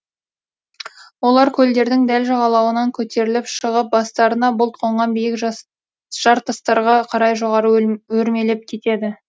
олар көлдердің дәл жағалауынан көтеріліп шығып бастарына бұлт қонған биік жартастарға қарай жоғары өрмелеп кетеді